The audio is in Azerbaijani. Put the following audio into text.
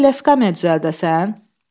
Gərək elə skamya düzəldəsən?"